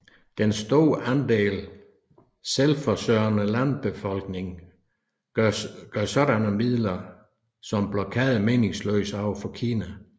Den store andel selvforsørgende landbefolkning gør sådanne midler som blokade meningsløse over for Kina